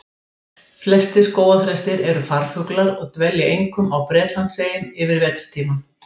Flestir skógarþrestir eru farfuglar og dvelja einkum á Bretlandseyjum yfir vetrartímann.